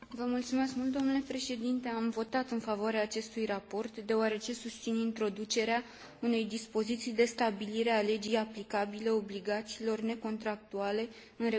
Am votat în favoarea acestui raport deoarece susțin introducerea unei dispoziții de stabilire a legii aplicabile obligațiilor necontractuale în regulamentul Roma II.